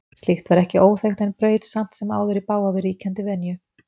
Slíkt var ekki óþekkt en braut samt sem áður í bága við ríkjandi venju.